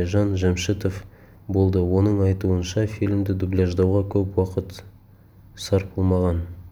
айжан жәмшітова болды оның айтуынша фильмді дубляждауға көп уақыт сарпылмаған